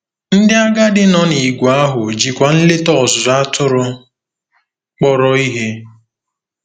Ndị agadi nọ n'ìgwè ahụ jikwa nleta ọzụzụ atụrụ kpọrọ ihe.